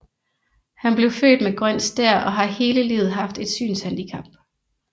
Han blev født med grøn stær og har hele livet haft et synshandicap